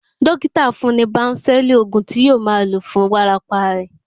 Dókítà fún-un ní bánsẹ̀lì, òògùn tí yóò máa lò fún wárápá rẹ̀.